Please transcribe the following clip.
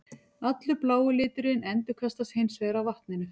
Allur blái liturinn endurkastast hins vegar af vatninu.